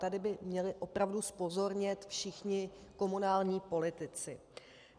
Tady by měli opravdu zpozornět všichni komunální politici.